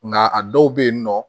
Nka a dɔw bɛ yen nɔ